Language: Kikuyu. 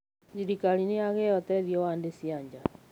Thĩrĩkarĩ nĩyagĩa ũteĩthĩo wa thĩ cĩa naja.